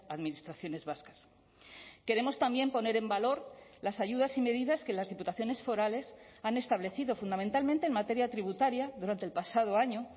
administraciones vascas queremos también poner en valor las ayudas y medidas que las diputaciones forales han establecido fundamentalmente en materia tributaria durante el pasado año